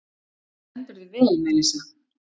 Þú stendur þig vel, Melissa!